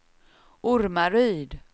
Ormaryd